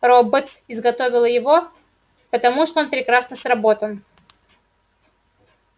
роботс изготовила его потому что он прекрасно сработан